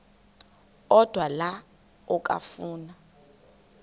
odwa la okafuna